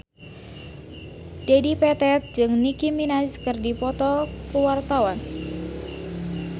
Dedi Petet jeung Nicky Minaj keur dipoto ku wartawan